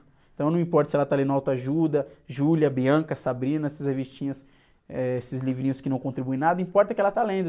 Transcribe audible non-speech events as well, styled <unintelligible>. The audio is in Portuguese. Então não importa se ela está lendo auto ajuda, <unintelligible> essas revistinhas, eh, esses livrinhos que não contribuem em nada, importa é que ela está lendo.